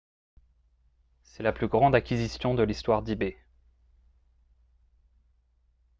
c'est la plus grande acquisition de l'histoire d'ebay